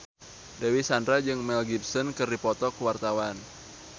Dewi Sandra jeung Mel Gibson keur dipoto ku wartawan